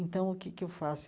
Então, o que é que eu faço?